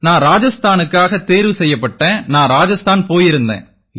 நான் ராஜஸ்தானுக்காக தேர்வு செய்யப்பட்டேன் நான் ராஜஸ்தான் போயிருந்தேன்